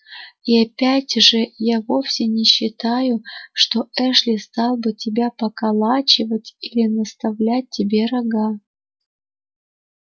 и опять же я вовсе не считаю что эшли стал бы тебя поколачивать или наставлять тебе рога